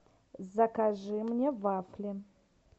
закажи мне вафли